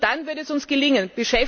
Und nur dann wird es uns gelingen!